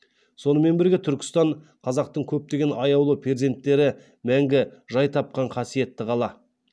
сонымен бірге түркістан қазақтың көптеген аяулы перзенттері мәңгі жай тапқан қасиетті қала